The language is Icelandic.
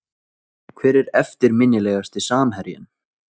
Hver er eftirminnilegasti samherjinn?